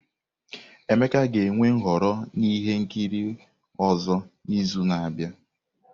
Emeka ga-enwe nhọrọ ihe nkiri ọzọ n'izu na-abịa.